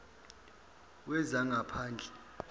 wezangaphandle